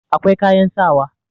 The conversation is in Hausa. akwai kayan sawa